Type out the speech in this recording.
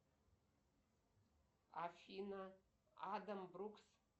афина адам брукс